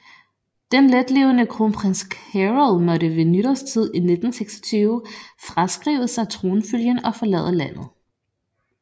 Den letlevende kronprins Carol måtte ved nytårstid 1926 fraskrive sig tronfølgen og forlade landet